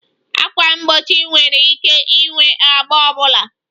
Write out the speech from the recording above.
Ákwà mgbochi nwere ike ịnwe agba ọ bụla